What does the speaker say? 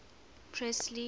presley